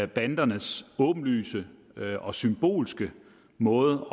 bandernes åbenlyse og symbolske måde